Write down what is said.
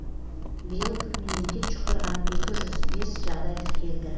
биыл менингит жұқтырған екі жүз бес жағдай тіркелді